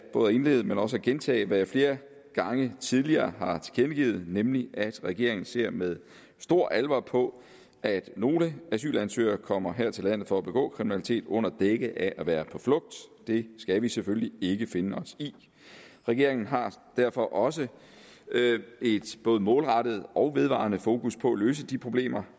både at indlede med og også gentage hvad jeg flere gange tidligere har tilkendegivet nemlig at regeringen ser med stor alvor på at nogle asylansøgere kommer her til landet for at begå kriminalitet under dække af at være på flugt det skal vi selvfølgelig ikke finde os i regeringen har derfor også et både målrettet og vedvarende fokus på at løse de problemer